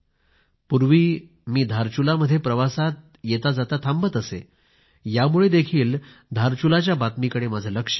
पूर्वी मी धारचुला मध्ये प्रवासात येताजाता थांबत असे यामुळे देखील धारचुलाच्या बातमीकडे लक्ष गेले